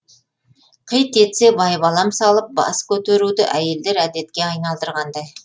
қит етсе байбалам салып бас көтеруді әйелдер әдетке айналдырғандай